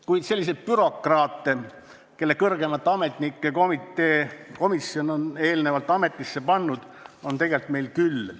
Kuid selliseid bürokraate, kelle on kõrgemate ametnike komisjon eelnevalt ametisse pannud, on meil tegelikult küll.